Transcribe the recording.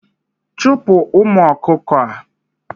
Chupu umu okuko a